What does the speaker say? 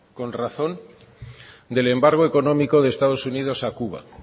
con razón del embargo económico de estados unidos a cuba